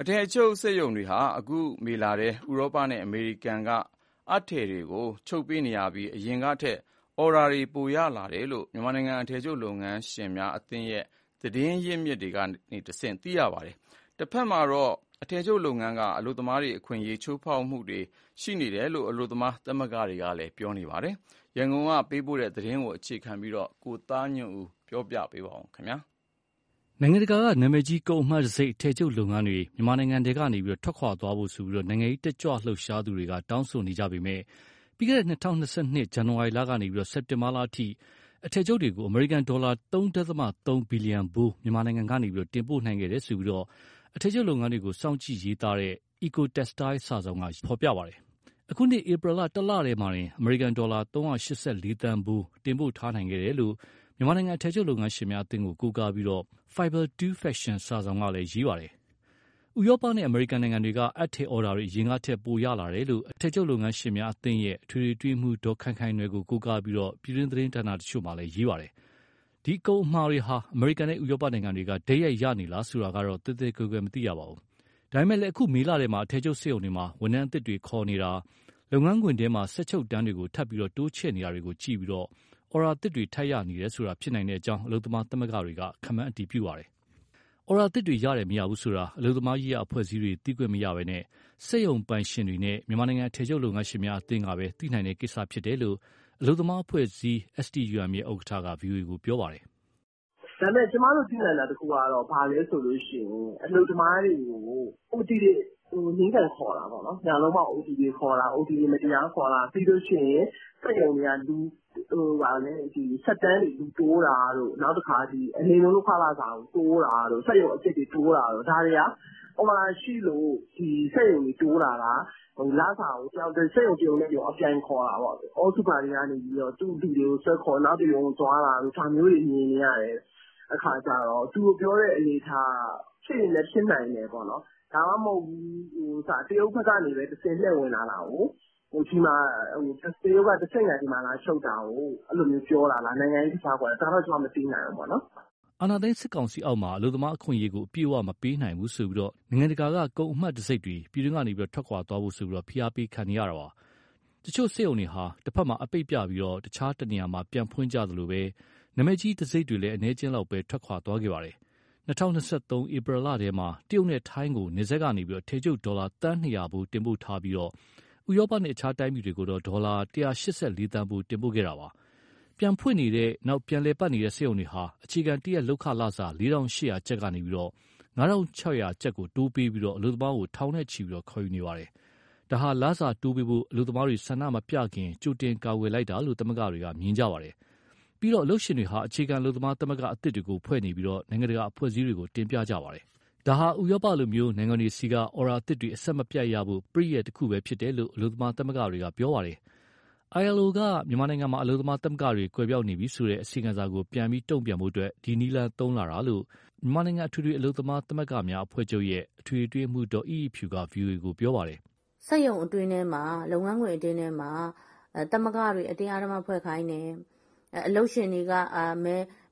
အထည်ချုပ်စက်ရုံတွေဟာ အခုမေလထဲ ဥရောပနဲ့အမေရိကန်ကအပ်ထည်တွေကို ချုပ်ပေးနေရပြီး၊ အရင်ကထက် အော်ဒါပိုရလာတယ်လို့ မြန်မာနိုင်ငံအထည်ချုပ်လုပ်ငန်းရှင်များအသင်းရဲ့ သတင်း အရင်းအမြစ်တွေကတဆင့်သိရပါတယ်။ တဖက်မှာတော့ အထည်ချုပ်လုပ်ငန်းက အလုပ်သမားတွေ အခွင့်အရေးချိုးဖောက်ခံရမှုတွေရှိနေတယ်လို့ အလုပ်သမားသမဂ္ဂတွေက ပြောပါတယ်။ ရန်ကုန်က ပေးပို့တဲ့ သတင်း ကိုသားညွန့်ဦး ပြောပြမှာပါ။ နိုင်ငံတကာက နာမည်ကြီး ကုန်အမှတ်တံဆိပ် အထည်ချုပ်လုပ်ငန်းတွေ မြန်မာနိုင်ငံထဲကထွက်သွားဖို့ နိုင်ငံရေးတတ်ကြွလှုပ်ရှားသူတွေ တောင်းဆိုနေပေမဲ့ ပြီးခဲ့တဲ့၂၀၂၂ ဇန်နဝါရီကနေ စက်တင်ဘာအထိ အထည်ချုပ်တွေကို အမေရိကန်ဒေါ်လာ ၃.၃ ဘီလီယံဖိုး မြန်မာနိုင်ငံက တင်ပို့နိုင်ခဲ့တယ်လို့ အထည်ချုပ်လုပ်ငန်းကို စောင့်ကြည့်ရေးသားနေတဲ့ Ecotextile စာစောင်က ရေးသားပါတယ်။ အခုနှစ်ဧပြီလ တလတည်းမှာတင် အမေရိကန်ဒေါ်လာ ၃၈၄သန်းဖိုး တင်ပို့ထားနိုင်ခဲ့တယ်လို့ မြန်မာနိုင်ငံ အထည်ချုပ် လုပ်ငန်းရှင်များအသင်းကို ကိုးကားပြီး Fiber 2 Fashion စာစောင်ကလည်း ရေးပါတယ်။ ဥရောပနဲ့ အမေရိကန်နိုင်ငံတွေက အပ်ထည်အော်ဒါတွေ အရင်ကထက် ပိုရလာတယ်လို့ အထည်ချုပ် လုပ်ငန်းရှင်များအသင်းရဲ့ အထွေထွေအတွင်းရေးမှူး ဒေါ်ခိုင်ခိုင်နွယ်ကို ကိုးကားပြီး ပြည်တွင်းသတင်းဌာန တချို့က ရေးကြပါတယ်။ ဒီကုန်အမှာတွေဟာ အမေရိကန်နဲ့ ဥရောပနိုင်ငံတွေကနေ တိုက်ရိုက်ရရှိနေလား ဆိုတာကိုတော့ သဲသဲကွဲကွဲမသိရပါဘူး။ ဒါပေမဲ့ အခုမေလထဲမှာ အထည်ချုပ်စက်ရုံတွေမှာ ဝန်ထမ်းအသစ် တွေ ခေါ်နေတာ၊ လုပ်ငန်းခွင်ထဲမှာ စက်ချုပ်တန်းတွေကို ထပ်ပြီး တိုးချဲ့နေတာကို ကြည့်ပြီး အော်ဒါသစ်တွေ ထပ်ရနေတယ်ဆိုတာ ဖြစ်နိုင်ကြောင်း အလုပ်သမား သမဂ္ဂတွေက ခန့်မှန်းပါတယ်။ အော်ဒါသစ်တွေ ရတယ်၊ မရဘူးဆိုတာ အလုပ်သမားရေးရာ အဖွဲ့အစည်းတွေက သိခွင့်မရဘဲ စက်ရုံပိုင်ရှင်တွေနဲ့ မြန်မာနိုင်ငံ အထည်ချုပ်လုပ်ငန်းရှင်များ အသင်း MGMA ကပဲ သိနိုင်တဲ့ကိစ္စဖြစ်ကြောင်း အလုပ်သမားအဖွဲ့အစည်း STUM ရဲ့ ဥက္ကဋ္ဌက ဗွီအိုအေကို ပြောပါတယ်။ " ဒါပေမဲ့ ကျမတို့ သိနိုင်တာတခုကတော့ အလုပ်သမားတွေကို OT တွေ နင်းကန်ခေါ်တာပေါ့နော်၊ ညလုံးပေါက် အိုတီတွေခေါ်တာ၊ ပြီးရင် စက်တန်းတွေလူတိုးတာ၊ နောက် အနိမ့်ဆုံး လုပ်ခလစာကို တိုးတာတို့၊ စက်ရုံအသစ်တွေ တိုးတာတို့၊ ဒါတွေဟာ အော်ဒါရှိလို့ ဒီစက်ရုံတွေ တိုးတာလား၊ စက်ရုံတရုံနဲ့တရုံ အပြိုင်ခေါ်တာပေါ့။ All super တွေကနေ သူ့လူတွေကိုဆွဲခေါ် နောက်တရုံကို သွားတာတို့ ဒါမျိုးတွေ မြင်နေရတဲ့အခါကြတော့ သူတို့ပြောတဲ့ အနေအထားက ဖြစ်ရင်လည်း ဖြစ်နိုင်တယ်ပေါ့။ ဒါမှမဟုတ် တရုတ်ဘက်ကတဆင့် လှည့်ဝင်လာတာကို၊ တရုတ်ကတဆင့်ခံ ဒီမှာလာချုပ်တာကို ပြောတာလား၊ နိုင်ငံရေးကစားကွက်၊ ဒါတော့ ကျမ မသိနိုင်ဘူး။" အာဏာသိမ်း စစ်ကောင်စီအောက်မှာ အလုပ်သမားအခွင့်အရေးကို အပြည့်အဝမပေးနိုင်ဘူးဆိုပြီး နိုင်ငံတကာ ကုန်အမှတ်တံဆိပ်တွေ ပြည်တွင်းကထွက်ခွာသွားဖို့ ဖိအားပေးခံနေရပါတယ်။ တချို့စက်ရုံတွေဟာ တဘက်မှာ အပိတ်ပြပြီး တခြားတနေရာမှာ ပြန်ဖွင့်ကြသလို နာမည်ကြီး တံဆိပ်တွေလည်း အနည်းအကျဉ်းလောက်သာ ထွက်သွားခဲ့တာပါ။ ၂၀၂၃ ဧပြီလထဲမှာ တရုတ်နဲ့ ထိုင်းကို နယ်စပ်ကနေ အထည်ချုပ် ဒေါ်လာသန်း ၂၀၀ ဖိုးတင်ပို့ထားပြီး၊ ဥရောပနဲ့ တခြားတိုင်းပြည်တွေကို ဒေါ်လာ ၁၈၄သန်းဖိုး တင်ပို့ခဲ့တာပါ။ ပြန်ဖွင့်နေတဲ့၊ ပြန်လည်ပတ်နေတဲ့ စက်ရုံတွေဟာ အခြေခံတရက်လုပ်ခလစာ ၄,၈၀၀ကျပ်ကနေ ၅,၆၀၀ ကိုတိုးပေးပြီး အလုပ်သမားထောင်နဲ့ချီ ခေါ်ယူနေပါတယ်။ ဒါဟာ လစာတိုးပေးဖို့ အလုပ်သမားတွေ ဆန္ဒမပြလာခင် ကြိုတင်ကာကွယ်လိုက်တာလို့ သမဂ္ဂတွေက မြင်ကြပါတယ်။ ပြီးတော့ အလုပ်ရှင်တွေဟာ အခြေခံအလုပ်သမားသမဂ္ဂ အသစ်တွေ ဖွဲ့စည်းနေပြီး၊ နိုင်ငံတကာ အဖွဲ့အစည်းတွေကို တင်ပြကြပါတယ်။ ဒါဟာ ဥရောပလို နိုင်ငံတွေဆီက အော်ဒါအသစ်တွေ အဆက်မပြတ်ရဖို့ ပရိယာယ် တခုသာဖြစ်တယ်လို့ အလုပ်သမားသမဂ္ဂတွေက ပြောပါတယ်။ ILO က မြန်မာနိုင်ငံမှာ အလုပ်သမား သမဂ္ဂတွေ ကွယ်ပျောက်နေပြီဆိုတဲ့ အစီရင်ခံစာကို ပြန်ပြီးတုံ့ပြန်ဖို့ ဒီလိုနည်းလမ်းတွေ သုံးလာတာလို့ မြန်မာနိုင်ငံ အထွေထွေအလုပ်သမား သမဂ္ဂများအဖွဲ့ချုပ်ရဲ့ အထွေထွေအတွင်းရေးမှူး ဒေါ်အိအိဖြူက ဗွီအိုအေကို ပြောပါတယ်။ " စက်ရုံအတွင်းထဲမှာ လုပ်ငန်းခွင် အတွင်းထဲမှာ သမဂ္ဂတွေ အတင်းအဓမ္မဖွဲ့ခိုင်းတယ်၊ အလုပ်ရှင်တွေက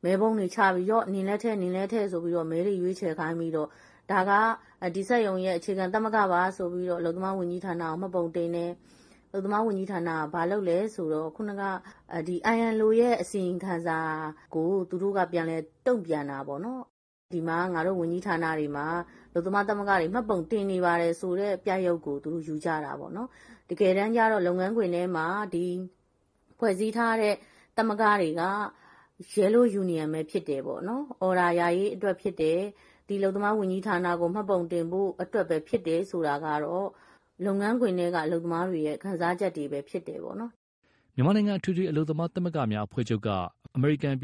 မဲပုံးတွေချပြီး နင်လည်းထည့်၊ နင်လည်းထည့်ဆိုပြီး မဲတွေရွေးချယ်ခိုင်းပြီး ဒါက ဒီစက်ရုံရဲ့ အခြေခံသမဂ္ဂပါဆိုပြီး အလုပ်သမားဝန်ကြီးဌာနကို မှတ်ပုံတင်တယ်။ အလုပ်သမား ဝန်ကြီးဌာနက ILOရဲ့ အစီရင်ခံစာကို သူတို့ကပြန်တုံ့ပြန်တာပေါ့နော်။ ဒီမှာ ငါတို့ ဝန်ကြီးဌာနတွေမှာ အလုပ်သမား သမဂ္ဂတွေ မှတ်ပုံတင်နေပါတယ် ဆိုတဲ့ ပြရုပ်ကို ယူကြတာပေါ့နော်။ တကယ်တမ်းကြ လုပ်ငန်းခွင်ထဲ ဖွဲ့စည်းထားတဲ့ သမဂ္ဂတွေက Yellow Union ပဲဖြစ်တယ်၊ အော်ဒါရရေးအတွက် ဖြစ်တယ်၊ ဒီအလုပ်သမား ဝန်ကြီးဌာနကို မှတ်ပုံတင်ဖို့အတွက်ပဲ ဖြစ်တယ် ဆိုတာကတော့ အလုပ်သမားတွေရဲ့ ခံစားချက်တွေပဲ ဖြစ်တယ်ပေါ့။" မြန်မာနိုင်ငံ အထွေထွေအလုပ်သမား သမဂ္ဂများအဖွဲ့ချုပ်က အမေရိကန်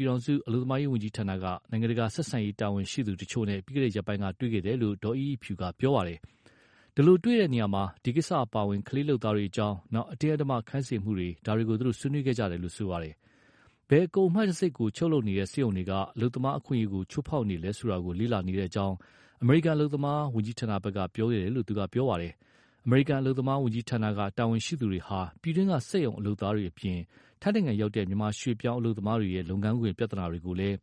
အလုပ်သမားဝန်ကြီးဌာနက နိုင်ငံတကာဆက်ဆံရေး တာဝန်ရှိသူတွေနဲ့ ပြီးခဲ့တဲ့ရက်ပိုင်းက တွေ့ဆုံခဲ့တယ်လို့ ဒေါ်အိအိဖြူကပြောပါတယ်။ အဲဒီလိုတွေ့တာမှာ ဒီကိစ္စတွေအပါအဝင် ကလေးလုပ်သားတွေအကြောင်း၊ အတင်းအဓမ္မ ခိုင်းစေမှုတွေ ဒါတွေကို သူတို့ ဆွေးနွေးခဲ့ကြတာပါ။ ဘယ်ကုန်အမှတ်တံဆိပ်ကို ချုပ်လုပ်နေတဲ့ စက်ရုံတွေက အလုပ်သမား အခွင့်အရေးကို ချိုးဖောက်နေလဲ ဆိုတာ လေ့လာနေတဲ့အကြောင်း အမေရိကန် အလုပ်သမား ဝန်ကြီးဌာနဘက်က ပြောခဲ့တယ်လို့ သူကပြောပါတယ်။ အမေရိကန် အလုပ်သမားဝန်ကြီးဌာနက တာဝန်ရှိသူတွေဟာ ပြည်တွင်းက စက်ရုံ အလုပ်သားတွေအပြင် ထိုင်းရောက် မြန်မာရွေ့ပြောင်း အလုပ်သမားတွေရဲ့ လုပ်ငန်းခွင် ပြဿနာတွေ ကိုလည်း